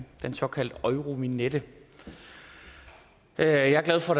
den såkaldte eurovignette jeg er glad for